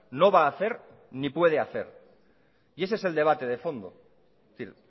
no va a hacer ni puede hacer ese es el debate de fondo es decir